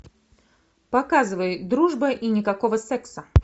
показывай дружба и никакого секса